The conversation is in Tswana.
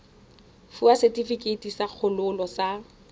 fiwa setefikeiti sa kgololo sa